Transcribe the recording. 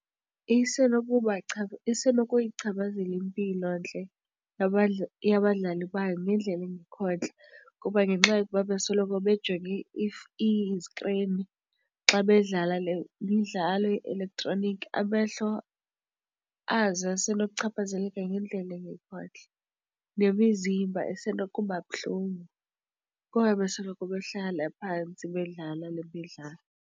Ise nokuyichaphazela impilontle yabadlali bayo ngendlela engekho ntle kuba ngenxa yokuba besoloko bejonge iskrini xa bedlala le midlalo ye-elektroniki. Amehlo azo ase nokuchaphazeleka ngendlela engekho ntle nemizimba isenokuba buhlungu kuba bebesoloko behlala phantsi bedlala le midlalo.